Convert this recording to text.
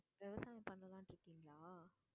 விவசாயம் பண்ணலாம்னு இருக்கீங்களா?